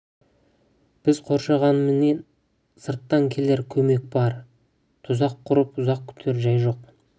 біз қоршағанмен сырттан келер көмек бар тұзақ құрып ұзақ күтер жай жоқ